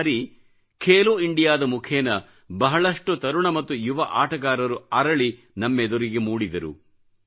ಈ ಬಾರಿ ಖೇಲೋ ಇಂಡಿಯಾ ದ ಮುಖೇನ ಬಹಳಷ್ಟು ತರುಣ ಮತ್ತು ಯುವ ಆಟಗಾರರು ಅರಳಿನಮ್ಮೆದುರಿಗೆ ಮೂಡಿದರು